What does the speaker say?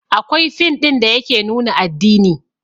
Akwai fin ɗin da yake nuna addini